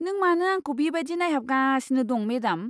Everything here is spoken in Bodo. नों मानो आंखौ बेबायदि नायहाबगासिनो दं, मेडाम?